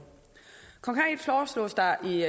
konkret foreslås der i